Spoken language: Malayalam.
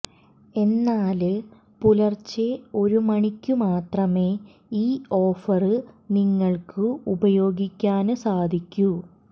എന്നാല് പുലര്ച്ചെ ഒരു മണിക്കു മാത്രമേ ഈ ഓഫര് നിങ്ങള്ക്ക് ഉപയോഗിക്കാന് സാധിക്കൂ